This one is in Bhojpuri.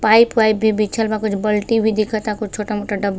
पाइप वाइप भी बिछल बा। कुछ बाल्टी भी दिखता। कुछ छोटा मोटा ढबा --